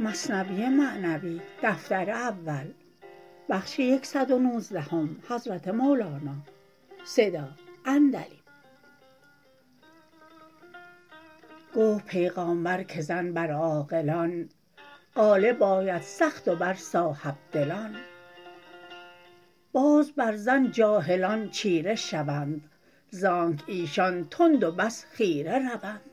گفت پیغامبر که زن بر عاقلان غالب آید سخت و بر صاحب دلان باز بر زن جاهلان چیره شوند زانک ایشان تند و بس خیره روند